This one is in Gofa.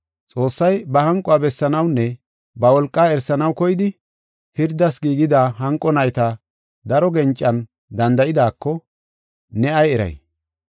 Xoossay ba hanquwa bessanawunne ba wolqaa erisanaw koyidi, pirdas giigida hanqo nayta daro gencan danda7idaako ne ay eray?